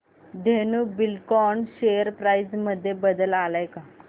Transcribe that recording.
Dhenu Buildcon share price मध्ये बदल आलाय का